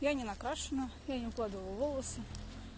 я не накрашена я не укладывала волосы